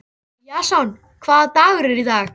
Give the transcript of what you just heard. Jason, hvaða dagur er í dag?